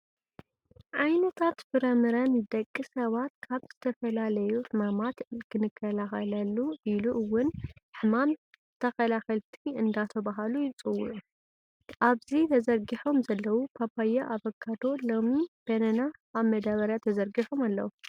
ዓይነታት ፍረምረ ንደቂ ሰባት ካብ ዝተፈላለዩ ሕማማት ክከላከሉ ኢሉ እውን ሕማም ተከላከልቲ እንዳተባሀሉ ይፅውዑ። ኣብዚ ተዘርጊሖም ዘለው ፓፓየ፣ ኣቫካዶ፣ ሎሚን፣ በናና ኣብ መዳበርያ ተዘርጊሖም ኣለው።